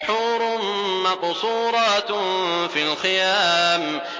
حُورٌ مَّقْصُورَاتٌ فِي الْخِيَامِ